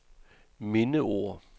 mindeord